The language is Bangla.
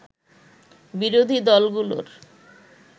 বিরোধী দলগুলোর